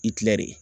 I tila de